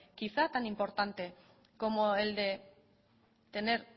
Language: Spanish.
quizá tan importante como el de tener